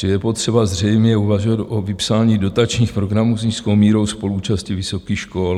Čili je potřeba zřejmě uvažovat o vypsání dotačních programů s nízkou mírou spoluúčasti vysokých škol.